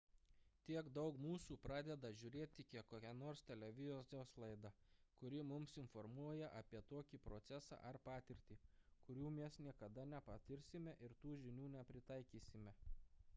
tiek daug mūsų pradeda žiūrėti kokią nors televizijos laidą kuri mus informuoja apie tokį procesą ar patirtį kurių mes niekada nepatirsime ir tų žinių nepritaikysime